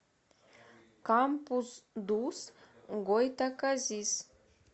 кампус дус гойтаказис